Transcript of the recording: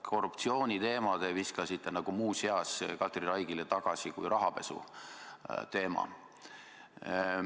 Korruptsiooniteema viskasite nagu muuseas Katri Raigile tagasi kui rahapesuteema.